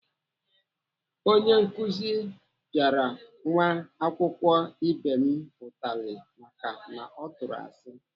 Onye nkuzi pịara nwa akwụkwọ ibe m utali maka na ọ tụrụ asị.